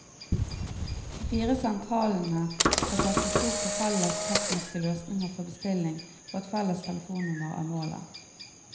De fire sentralene skal satse stort på felles tekniske løsninger for bestilling, og et felles telefonnummer er målet.